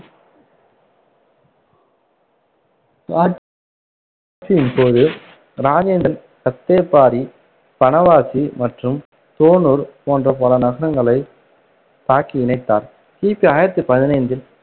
ஆ~ ட்சியின் போது, இராஜேந்திரன் பனவாசி மற்றும் தோணூர் போன்ற பல நகரங்களைத் தாக்கி இணைத்தார். கிபி ஆயிரத்தி பதினைந்தில்,